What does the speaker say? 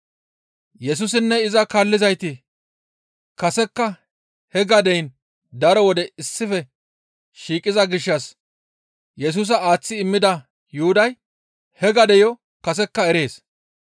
Yesusinne iza kaallizayti kasekka he gadeyin daro wode issife shiiqiza gishshas Yesusa aaththi immida Yuhuday he gadeyo kasekka erees.